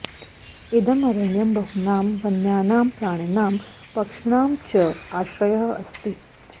इदम् अरण्यं बहूनां वन्यानां प्राणिनां पक्षिणां च आश्रयः अस्ति